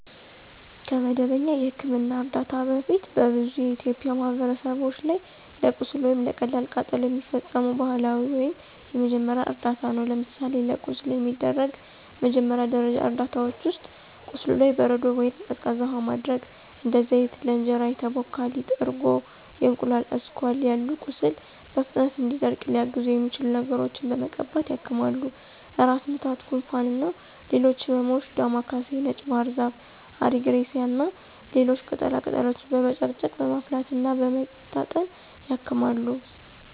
ከመደበኛ የሕክምና እርዳታ በፊት በብዙ የኢትዮጵያ ማህበረሰቦች ላይ ለቁስል ወይም ለቀላል ቃጠሎ የሚፈጸሙ ባህላዊ ወይም የመጀመሪያ እርዳታ ነው። ለምሳሌ ለቁስል የሚደረጉ መጀመሪያ ደረጃ እርዳታዎች ውስጥ፦ ቁስሉ ላይ በረዶ ወይንም ቀዝቃዛ ውሃ ማድረግ፣ እንደ ዘይት፣ ለእንጀራ የተቦካ ሊጥ፣ እርጎ፣ የእንቁላል አስኳል ያሉ ቁስሉ በፍጥነት እንዲደርቅ ሊያግዙት የሚችሉ ነገሮችን በመቀባት ያክማሉ። ራስ ምታት፣ ጉንፋን እና ሌሎች ህመሞችም ዳማ ካሴ፣ ነጭ ባህርዛፍ፣ አሪግሬሳ እና ሌሎች ቅጠላ ቅጠሎችን በመጨቅጨቅ፣ በማፍላት እና በመታጠን ያክማሉ።